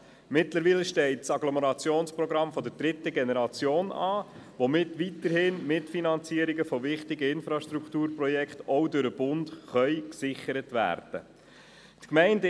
Mittlerweile steht das Agglomerationsprogramm der dritten Generation an, womit weiterhin Mitfinanzierungen von wichtigen Infrastrukturprojekten auch durch den Bund gesichert werden können.